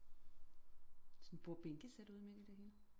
Sådan et bordbænkesæt ude midt i det hele